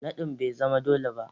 Nadin bai zama dole ba